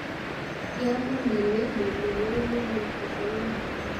kiamwoun ale mwommwoun iman, kas anyun